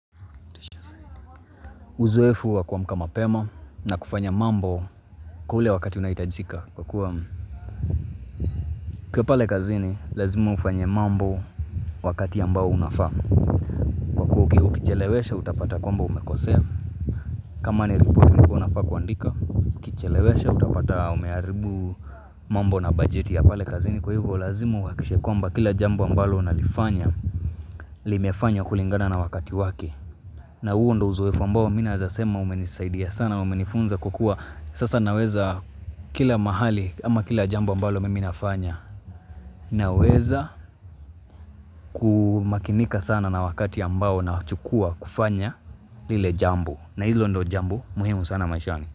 Uzoefu wa kuamka mapema na kufanya mambo kule wakati unaohitajika kwa kuwa ukiwa pale kazini lazima ufanye mambo wakati ambao unafaa. Kwa kuwa ukichelewesha utapata kwamba umekosea kama ni ripoti ulikuwa unafaa kuandika. Ukichelewesha utapata umeharibu mambo na bajeti ya pale kazini kwa hivo lazima uhakikishe kwamba kila jambo ambalo unalifanya. Limefanywa kulingana na wakati wake. Na huo ndo uzoefu ambao mimi naweza sema umenisaidia sana, umenifunza kukua. Sasa naweza kila mahali ama kila jambo ambalo mimi nafanya. Naweza kumakinika sana na wakati ambao nao chukua kufanya lile jambu. Na hilo ndo jambo, muhimu sana maishani.